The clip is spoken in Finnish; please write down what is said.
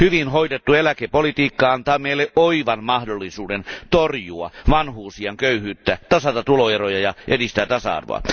Hyvin hoidettu eläkepolitiikka antaa meille oivan mahdollisuuden torjua vanhuusiän köyhyyttä, tasata tuloeroja ja edistää tasa arvoa.